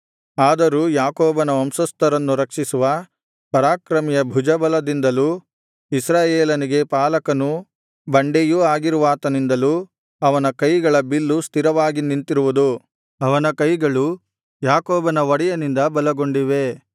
ಆದರೂ ಯಾಕೋಬನ ವಂಶಸ್ಥರನ್ನು ರಕ್ಷಿಸುವ ಪರಾಕ್ರಮಿಯ ಭುಜಬಲದಿಂದಲೂ ಇಸ್ರಾಯೇಲನಿಗೆ ಪಾಲಕನೂ ಬಂಡೆಯೂ ಆಗಿರುವಾತನಿಂದಲೂ ಅವನ ಕೈಗಳ ಬಿಲ್ಲು ಸ್ಥಿರವಾಗಿ ನಿಂತಿರುವುದು ಅವನ ಕೈಗಳು ಯಾಕೋಬನ ಒಡೆಯನಿಂದ ಬಲಗೊಂಡಿವೆ